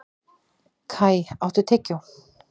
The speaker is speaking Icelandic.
Kai, áttu tyggjó?